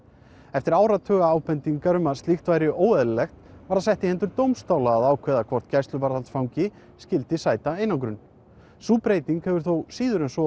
eftir áratuga ábendingar um að slíkt væri óeðlilegt var það sett í hendur dómstóla að ákveða hvort gæsluvarðhaldsfangi skyldi sæta einangrun sú breyting hefur þó síður en svo